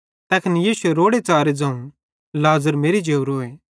तैखन यीशुए रोड़ेच़ारे ज़ोवं लाज़र मेरि जेवरोए